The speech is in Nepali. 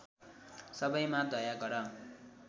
सबैमा दया गर